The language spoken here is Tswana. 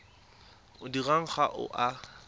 o dirwang ga o a